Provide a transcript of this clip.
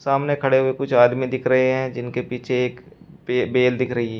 सामने खड़े हुए कुछ आदमी दिख रहे हैं जिनके पीछे एक बे बेल दिख रही--